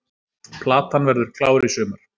Platan verður klár í sumar